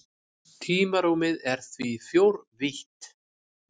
Tímarúmið er því fjórvítt.